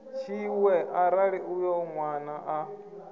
tshiṅwe arali uyo nwana a